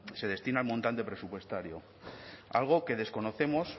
se destina el montante presupuestario algo que desconocemos